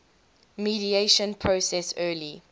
mediation process early